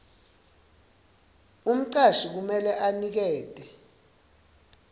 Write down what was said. umcashi kumele anikete